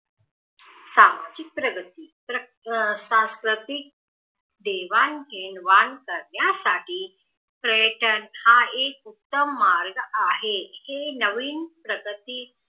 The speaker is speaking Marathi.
सामाजिक प्रगती सास्वतीक देवाण घेवाण करण्यासाठी पर्यटन एक उत्तम मार्ग आहे हे नवीन प्रगती